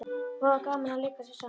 Voða gaman að leika sér saman